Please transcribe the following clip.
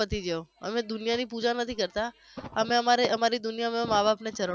પતિ ગયો અમે દુનિયાની પુજા નથી કરતા અમે અમારા અમારી દુનિયા અમારા મા બાપના ચરણોમાં